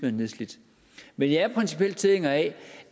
er nedslidt men jeg er principielt tilhænger af